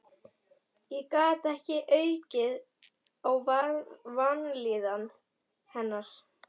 Ég gat ekki aukið á vanlíðan hennar.